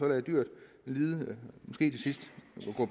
lade dyret lide